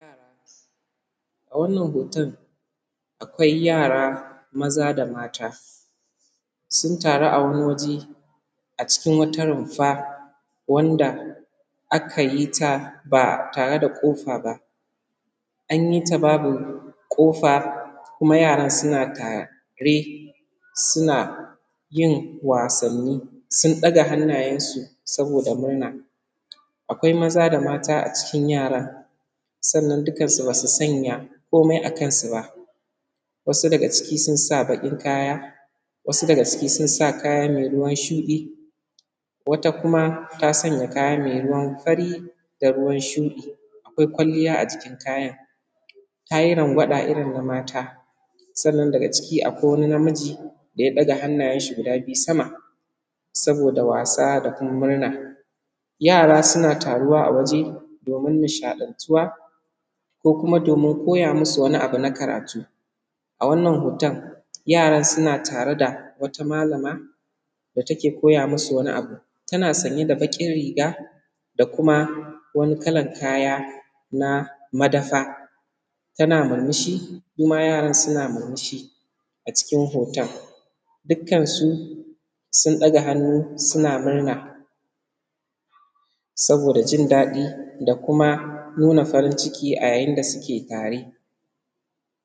A wannan hoton akwai yara maza da mata sun taru a wani waje a cikin wata rumfa wanda aka yi ta ba tare da kufa ba, an yi ta babu kufa kuma yaran suna tare suna yin wasanni sun ɗaga hannayensu. Saboda murna akwai maza da mata a cikin yaran sannan dukansu ba su sanya komai a kansu ba, wasu daga ciki sun sa baƙin kaya, wasu daga ciki sun sa kaya me ruwan shuɗi, wata kuma ta sanya kayanta me ruwan fari da ruwan shuɗi; akwai kwalliya a jikin kayan; ta yi rangwaɗa irin na mata. Sannan daga ciki akwai wani na miji da ya ɗaga hannayensa sama saboda wasa da kuma murna, yara na taruwa a waje domin nishaɗantuwa, ko kuma domin koya musu wani abu na karatu. A wannan hoton yara suna tare da wata alama da take koya musu wani abu, tana sanye da baƙin riga da kuma wani kalan kaya na madafa tana murmushi suma yaran suna murmushi, a cikin hoton dukkansu sun ɗaga hannu suna murna saboda jin daɗi da kuma nuna farin ciki, a yayin da suke tare.